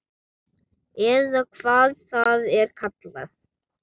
Eða hvað það er kallað.